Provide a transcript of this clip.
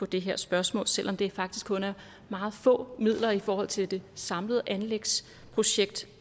det her spørgsmål selv om det faktisk kun er meget få midler i forhold til det samlede anlægsprojekt